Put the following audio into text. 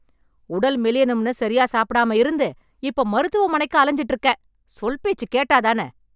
உடல் மெலியணும்னு சரியா சாப்பிடாம இருந்து, இப்போ மருத்துவமனைக்கு அலஞ்சுட்டு இருக்க... சொல் பேச்சு கேட்டாதான...